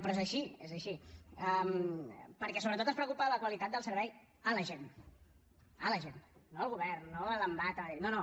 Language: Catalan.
però és així és així perquè sobretot ens preocupa la qualitat del servei a la gent a la gent no al govern no a l’embat a madrid no no